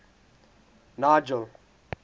nigel